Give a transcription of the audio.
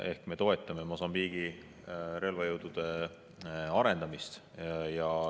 Ehk me toetame Mosambiigi relvajõudude arendamist.